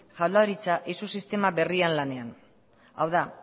jaurlaritza eizu sistema berrian lanean hau da